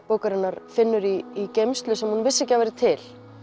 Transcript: bókarinnar finnur í geymslu sem hún vissi ekki að væri til